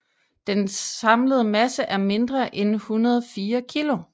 Dens samlede masse er mindre end 104 kg